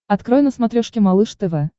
открой на смотрешке малыш тв